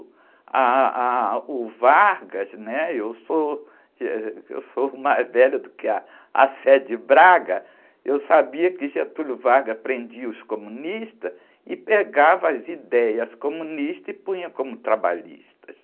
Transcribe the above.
Ah, ah, o Vargas, né? Eu sou, eh, eu sou mais velha do que a, eu sabia que Getúlio Vargas prendia os comunistas e pegava as ideias comunistas e punha como trabalhistas.